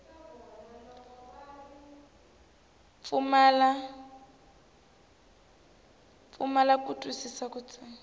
pfumala ku twisisa ka tsalwa